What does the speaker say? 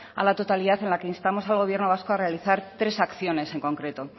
a la totalidad en la que instamos al gobierno vasco a realizar tres acciones en concreto